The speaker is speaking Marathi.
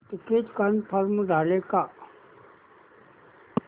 तिकीट कन्फर्म झाले का